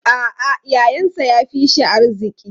A'a, yayansa ya fi shi arziki.